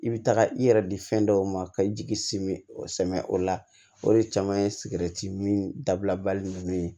I bɛ taga i yɛrɛ di fɛn dɔw ma ka i jigi simi o samiyɛ o la o de caman ye sigɛriti min dabila bali ninnu